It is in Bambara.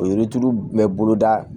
O yiri turu bɛɛ bolo da